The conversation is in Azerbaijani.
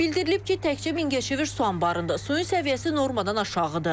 Bildirilib ki, təkcə Mingəçevir su anbarında suyun səviyyəsi normadan aşağıdır.